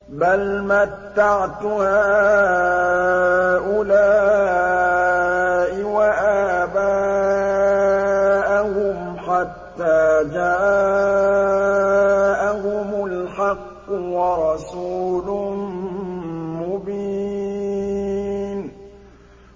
بَلْ مَتَّعْتُ هَٰؤُلَاءِ وَآبَاءَهُمْ حَتَّىٰ جَاءَهُمُ الْحَقُّ وَرَسُولٌ مُّبِينٌ